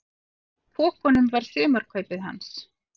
Í pokunum var sumarkaupið hans.